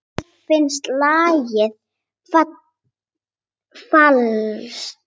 Mér finnst lagið falskt.